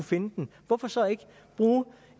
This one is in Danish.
finde den hvorfor så ikke bruge